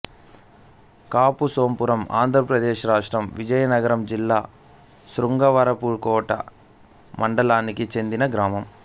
కాపుసోంపురంఆంధ్ర ప్రదేశ్ రాష్ట్రం విజయనగరం జిల్లా శృంగవరపుకోట మండలానికి చెందిన గ్రామం